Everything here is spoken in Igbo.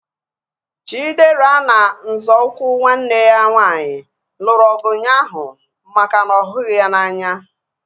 Chidera na nzọụkwụ nwanne ya nwaanyị lụrụ ọgụ ụnyaahụ maka na ọ ghughi ya n'anya